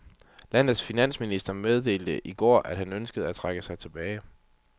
Landets finansminister meddelte i går, at han ønsker at trække sig tilbage.